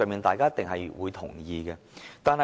大家一定會同意這些方向。